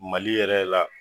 Mali yɛrɛ la